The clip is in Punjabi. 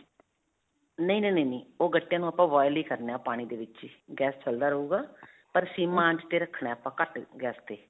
ਨਹੀਂ, ਨਹੀਂ, ਨਹੀਂ, ਨਹੀਂ. ਉਹ ਗੱਟਿਆਂ ਨੂੰ ਆਪਾਂ boil ਹੀ ਕਰਨਾ ਪਾਣੀ ਦੇ ਵਿੱਚ ਹੀ ਚਲਦਾ ਗੈਸ ਰਹੂਗਾ ਪਰ sim ਆਂਚ ਤੇ ਰੱਖਣਾ ਆਪਾਂ ਘੱਟ ਗੈਸ ਤੇ